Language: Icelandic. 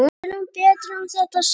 Tölum betur um þetta seinna.